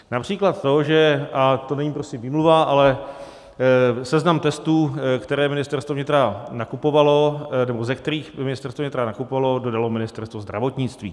Například to, že - a to není prosím výmluva - ale seznam testů, které Ministerstvo vnitra nakupovalo, nebo ze kterých Ministerstvo vnitra nakupovalo, dodalo Ministerstvo zdravotnictví.